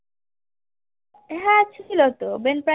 ছিল তো বেনফ্রিজ